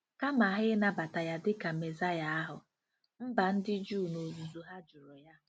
Kama ha i nabata ya dị ka Mesaịa ahụ, mba ndị Juu n'ozuzu ha jụrụ ya.